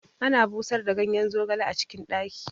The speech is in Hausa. Ana busar da ganyen zogali a cikin ɗaki